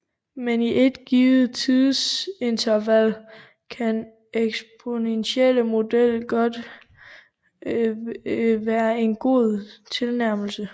Men i et givet tidsinterval kan den eksponentielle model være en god tilnærmelse